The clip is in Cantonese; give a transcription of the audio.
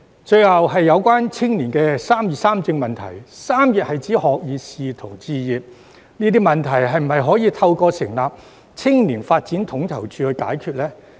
最後是有關青年人"三業三政"問題，"三業"是指學業、事業及置業，這些問題是否可以透過成立青年發展統籌處解決呢？